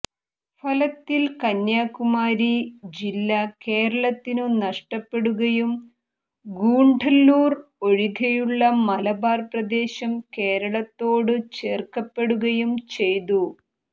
ഫലത്തിൽ കന്യാകുമാരി ജില്ല കേരളത്തിനു നഷ്ടപ്പെടുകയും ഗൂഡല്ലൂർ ഒഴികെയുള്ള മലബാർ പ്രദേശം കേരളത്തോടു ചേർക്കപ്പെടുകയും ചെയ്തു